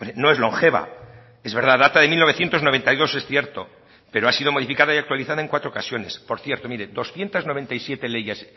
no es longeva es verdad data de mil novecientos noventa y dos es cierto pero ha sido modificada y actualizada en cuatro ocasiones por cierto mire doscientos noventa y siete leyes